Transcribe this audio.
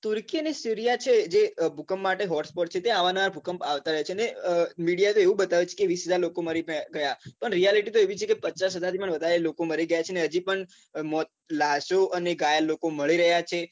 turkey અને sirea છે જે ભૂકંપ માટે hospot છે ત્યાં અવારનવાર ભૂકંપ આવતા રહે છે અને media તો એવું બતાવે છે કે વીસ હજાર લોકો મરી ગયા પણ reality તો એવી છે કે પચાસ હજાર પણ વધારે લોકો મરી ગયા છે અને હજી પણ મોત લાસો અને ઘાયલ લોકો મળી રહ્યા છે